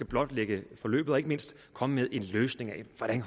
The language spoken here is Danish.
blotlægge forløbet og ikke mindst komme med en løsning til hvordan